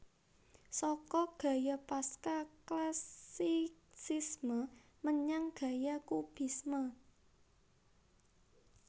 Saka gaya Pasca Classicisme menyang gaya Kubisme